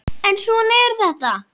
En svona er þetta!